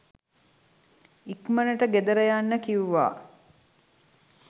ඉක්මනට ගෙදර යන්න කිව්වා